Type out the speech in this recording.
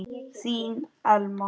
Þín Elma.